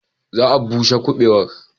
Za a bushe kubewar.